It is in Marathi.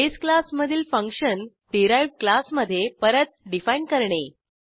बेस क्लास मधील फंक्शन डिराइव्ह्ड क्लासमधे परत डिफाईन करणे